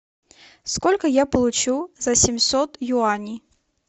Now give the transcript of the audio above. сколько я получу за семьсот юаней